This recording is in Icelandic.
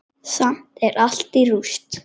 Samt er allt í rúst.